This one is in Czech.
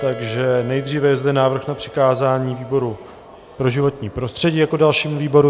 Takže nejdříve je zde návrh na přikázání výboru pro životní prostředí jako dalšímu výboru.